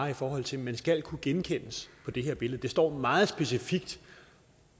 i forhold til at man skal kunne genkendes på det her billede det står meget specifikt